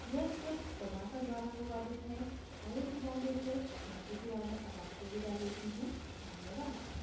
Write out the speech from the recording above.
यह स्क्रिप्ट प्रभाकर द्वारा अनुवादित है आई आई टी बॉम्बे से मैं श्रुति आर्य अब आपसे विदा लेती हूँ धन्यवाद